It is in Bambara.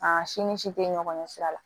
A si ni si tɛ ɲɔgɔn ɲɛ sira la